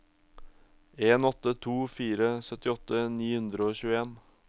en åtte to fire syttiåtte ni hundre og tjueen